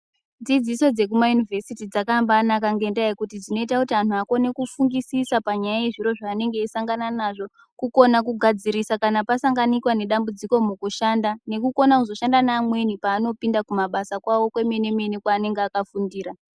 Dzidziso dzekuma yunivhesiti dzakamba naka ngenda yekuti dzinoita kuti anhu akone kufungisisa panyaya yezviro zvanenge eyisangana nazvo, kukona kugadzirisa kana pasanganikwa nedambudziko mukushanda nekukona kuzoshanda neamweni panopinda kumabasa kwawo kwemene mene kwanenge akafundira.